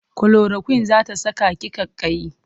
Kulorakwin za ta saka ki ƙaiƙayi.